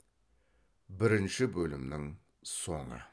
бірінші бөлімнің соңы